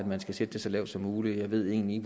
man skal sætte det så lavt som muligt jeg ved egentlig